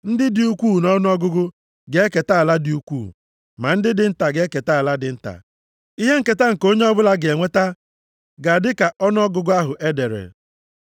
Ndị dị ukwuu nʼọnụọgụgụ ga-eketa ala dị ukwuu, ma ndị dị nta ga-eketa ala dị nta. Ihe nketa nke onye ọbụla ga-enweta ga-adị ka ọnụọgụgụ ahụ e dere.